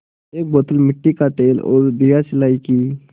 एक बोतल मिट्टी का तेल और दियासलाई की